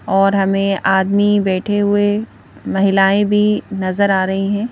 और हमें आदमी बैठे हुए महिलाएं भी नजर आ रही हैं।